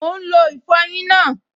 Mò ún lo ìfọyín náà